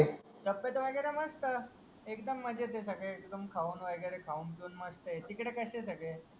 तब्येत म्हणजे आता मस्त एकदम मजेत आहे सगडे एकदम खाऊन वगेरे खाऊन पेऊन मस्त आहे तिकडे कशे सगडे